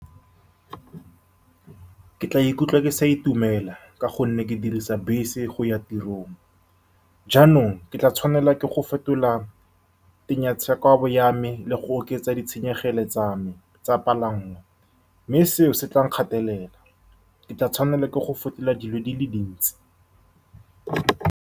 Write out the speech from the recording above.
Ke tla ikutlwa ke sa itumela ka gonne ke dirisa bese go ya tirong jaanong ke tla tshwanelwa ke go fetola ya me le go oketsa ditshenyegelo tsa me tsa dipalanngwa mme seo se tla nkgatelela ke tla tshwanelwa ke go fetola dilo di le dintsi